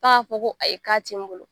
Ka ko, ko ayi ka ti n bolo.